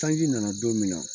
Sanji nana don min na